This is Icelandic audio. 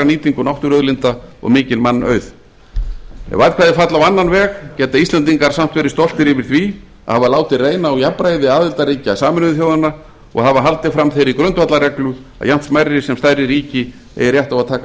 nýtingu náttúruauðlinda og mikinn mannauð ef atkvæði falla á annan veg geta íslendingar samt verið stoltir yfir því að hafa látið reyna á jafnræði aðildarríkja sameinuðu þjóðanna og hafa haldið fram þeirri grundvallarreglu að jafnt smærri sem stærri ríki eigi rétt á að taka